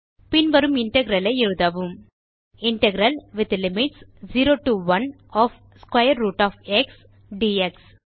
பின் வரும் இன்டெக்ரல் ஐ எழுதவும் integral with limits 0 to 1 of square root of x dx